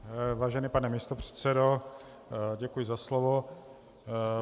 Vážený pane místopředsedo, děkuji za slovo.